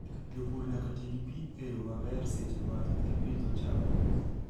Jopur nyaka ti gi pi e yo maber seche ma gipidho cham.